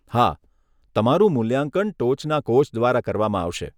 હા, તમારું મૂલ્યાંકન ટોચના કોચ દ્વારા કરવામાં આવશે.